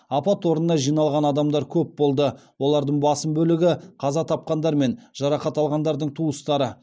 апат орнына жиналған адамдар көп болды олардың басым бөлігі қаза тапқандар мен жарақат алғандардың туыстары